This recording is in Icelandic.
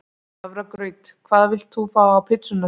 Hafragraut Hvað vilt þú fá á pizzuna þína?